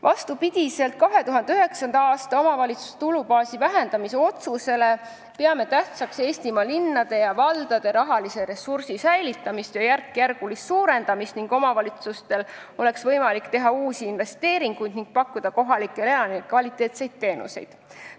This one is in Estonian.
Vastupidi 2009. aasta omavalitsuste tulubaasi vähendamise otsusele peame tähtsaks Eestimaa linnade ja valdade rahalise ressursi säilitamist ja järkjärgulist suurendamist, et omavalitsustel oleks võimalik teha uusi investeeringuid ning pakkuda kohalikele elanikele kvaliteetseid teenuseid.